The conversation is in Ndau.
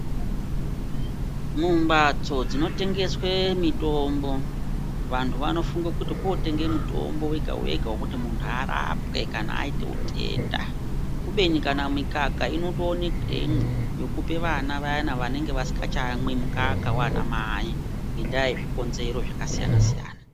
Mumbatso dzinotengeswe mitombo vantu vanofunge kuti kotenge mutombo wega-wega vekuti muntu arapwe kana aiite utenda. Kubeni kana mikaka inotoonekwemwo yekupe vana vayana vanenge vasikachayamwi mukaka vana mai ngendaa yezvikonzero zvakasiyana-siyana.